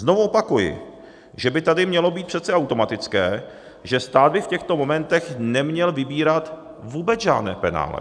Znovu opakuji, že by tady mělo být přece automatické, že stát by v těchto momentech neměl vybírat vůbec žádné penále.